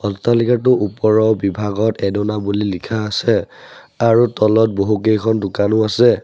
অট্টালিকাটো ওপৰত বিভাগত এদনা বুলি লিখা আছে আৰু তলত বহুকেইখন দোকানো আছে।